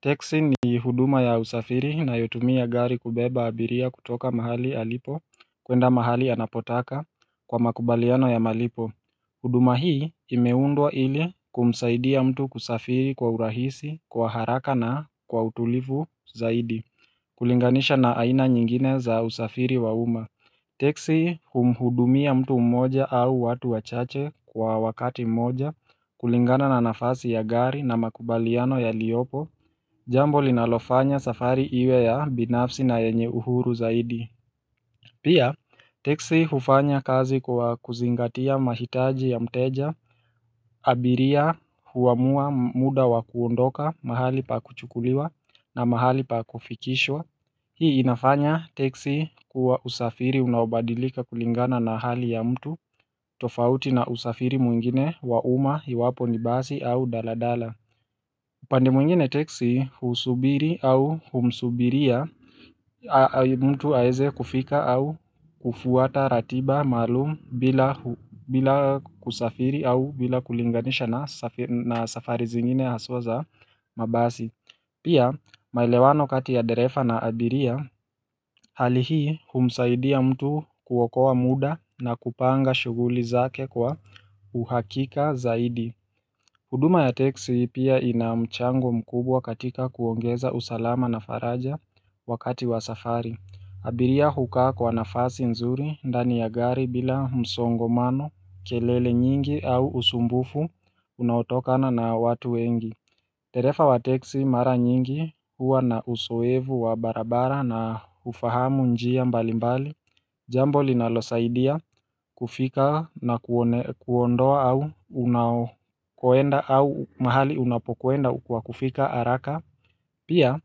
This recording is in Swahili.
Teksi ni huduma ya usafiri inayotumia gari kubeba abiria kutoka mahali alipo kuenda mahali anapotaka kwa makubaliano ya malipo. Huduma hii imeundwa ili kumsaidia mtu kusafiri kwa urahisi kwa haraka na kwa utulivu zaidi. Kulinganisha na aina nyingine za usafiri wauma. Teksi humuhudumia mtu mmoja au watu wachache kwa wakati mmoja kulingana na nafasi ya gari na makubaliano yaliopo. Jambo linalofanya safari iwe ya binafsi na yenye uhuru zaidi. Pia, teksi hufanya kazi kwa kuzingatia mahitaji ya mteja. Abiria huamua muda wa kuondoka mahali pa kuchukuliwa na mahali pa kufikishwa. Hii inafanya teksi kuwa usafiri unabadilika kulingana na hali ya mtu tofauti na usafiri mwingine wauma hiwapo nibasi au daladala upande mwingine teksi husubiri au humsubiria mtu aeze kufika au kufuata ratiba maalum bila kusafiri au bila kulinganisha na safari zingine haswa za mabasi. Pia, maelewano kati ya dereva na abiria, hali hii humsaidi ya mtu kuokoa muda na kupanga shughuli zake kwa uhakika zaidi. Huduma ya teksi pia inamchango mkubwa katika kuongeza usalama na faraja wakati wa safari. Abiria hukaa kwa nafasi nzuri, dani ya gari bila msongomano, kelele nyingi au usumbufu unautokana na watu wengi. Tereva wa teksi mara nyingi huwa na uzoevu wa barabara na hufahamu njia mbali mbali. Jambo linalo saidia kufika na kuondoa au unakoenda au mahali unapokuenda kwa kufika haraka. Pia,